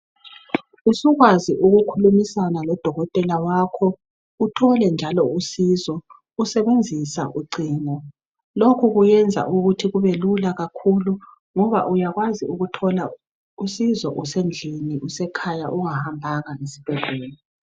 Usukwazi ukukhulumisana lodokotela wakho uthole njalo usizo usebenzisa ucingo. Lokhu kuyenza ukuthi kubelula kakhulu ngoba uyakwazi ukuthola usizo usendlini, usekhaya ungahambanga esbhedlela.